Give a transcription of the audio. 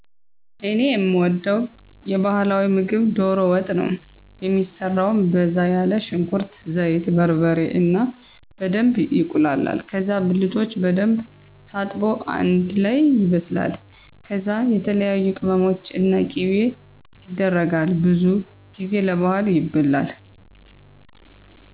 እኔ የምወደዉ የባህላዊ ምግብ ዶሮ ወጥ ነው። የሚሰራው በዛ ያለ ሽንኩርት፣ ዘይት፣ በርበሬ እና በደንብ ይቁላላል ከዛ ብልቶች በደንብ ታጥቦ አንደ ላይ ይበስላል ከዛ የተለያዬ ቅመሞች እና ቂቤ የደረጋል። ብዙ ጊዜ ለባህል ይበላል።